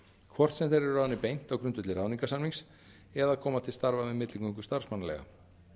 hvort sem þeir eru ráðnir beint á grundvelli ráðningarsamnings eða koma til starfa með milligöngu starfsmannaleiga